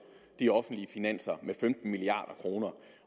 de offentlige finanser med femten milliard kroner